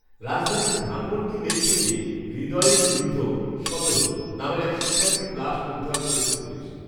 ﻿﻿﻿রাজধানীর ধানমন্ডি লেক থেকে হৃদয়ঈম ঋদ্ধ, সতেরো, নামের এক শিক্ষার্থীর লাশ উদ্ধার করেছে পুলিশ